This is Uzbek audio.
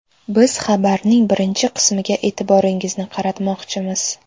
Biz xabarning birinchi qismiga e’tiboringizni qaratmoqchimiz.